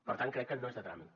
per tant crec que no és de tràmit